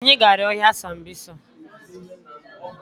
Anyị gara ọhịa sambisa